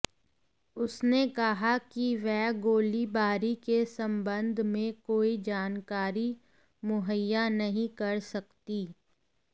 उसने कहा कि वह गोलीबारी के संबंध में कोई जानकारी मुहैया नहीं कर सकती